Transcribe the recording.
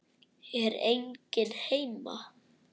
Er enginn heima?